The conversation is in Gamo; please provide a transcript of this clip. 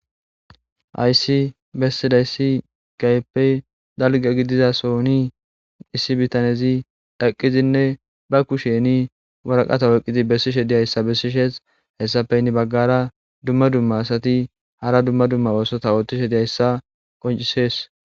Hayisi besidayis kehippe daliga gidiyayis daliga gididason issi bitanezi eqidinne ba kusheni waraqata oyikidi besishshe dizayisa besesi hesappe ha baganra dumma dumma asati hara dumma dumma osota ooththishe dizayisa qoncisesi